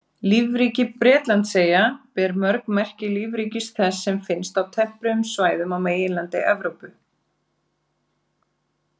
Lífríki Bretlandseyja ber mjög merki lífríkis þess sem finnst á tempruðum svæðum á meginlandi Evrópu.